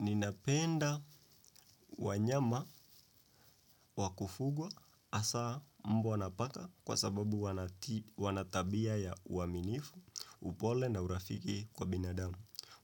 Ninapenda wanyama wa kufugwa hasa mbwa na paka kwa sababu kwa sababu wana tabia ya uaminifu, upole na urafiki kwa binadamu.